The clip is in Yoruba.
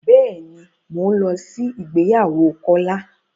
Bẹ́ẹ̀ ni, mò ń lọ sí ìgbéyàwó Kólá.